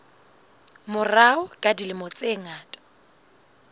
morao ka dilemo tse ngata